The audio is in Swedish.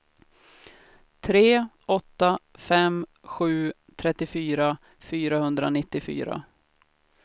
tre åtta fem sju trettiofyra fyrahundranittiofyra